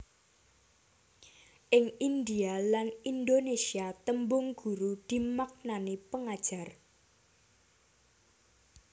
Ing Indhia lan Indonesia tembung guru dimaknani pengajar